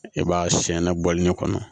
E b'a siyɛn na bɔli ne kɔnɔ